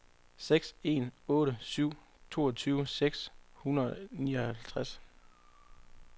seks en otte syv toogtyve seks hundrede og nioghalvfems